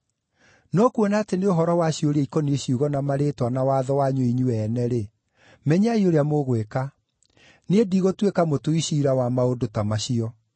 No kuona atĩ nĩ ũhoro wa ciũria ikoniĩ ciugo na marĩĩtwa na watho wanyu inyuĩ ene-rĩ, menyai ũrĩa mũgwĩka. Niĩ ndigũtuĩka mũtui ciira wa maũndũ ta macio.”